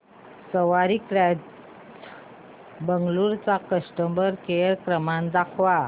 सवारी cabs Bengaluru चा customer care क्रमांक दाखवा